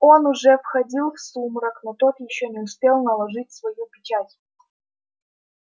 он уже входил в сумрак но тот ещё не успел наложить свою печать